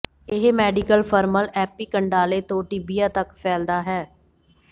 ਇਹ medical femoral epicondyle ਤੋਂ tibia ਤੱਕ ਫੈਲਦਾ ਹੈ